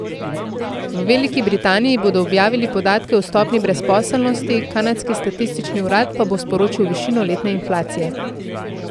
V Veliki Britaniji bodo objavili podatke o stopnji brezposelnosti, kanadski statistični urad pa bo sporočil višino letne inflacije.